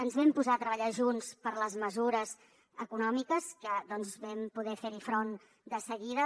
ens vam posar a treballar junts per les mesures econòmiques que vam poder per fer hi front de seguida